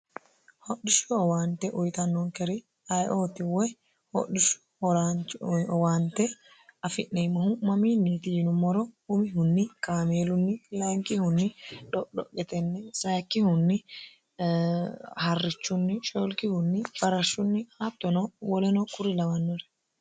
hodhishshu owaante uyitannoonkeri ayiootiwoy hodhishshu horaanchiowaante afi'neemmohu'mamiinniiti yinummoro umihunni kaameelunni lainkihunni dho'dho'yetenni saikkihunni harrichunni shelkihunni barashshunni haattono woleno kuri lawannore